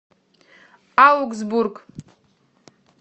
аугсбург